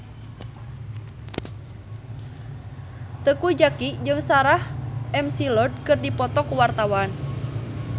Teuku Zacky jeung Sarah McLeod keur dipoto ku wartawan